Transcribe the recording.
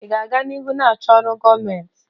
Ị ga-aga n'ihu na-achọ ọrụ gọọmentị?